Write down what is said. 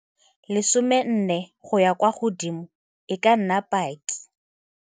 14 go ya kwa godimo e ka nna paki.